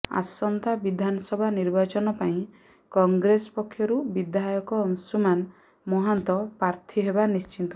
ଆସନ୍ତା ବିଧାନସଭା ନିର୍ବାଚନ ପାଇଁ କଂଗ୍ରେସ ପକ୍ଷରୁ ବିଧାୟକ ଅଂଶୁମାନ ମହାନ୍ତ ପାର୍ଥୀ ହେବା ନିଶ୍ଚିତ